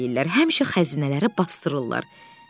həmişə xəzinələri basdırırlar.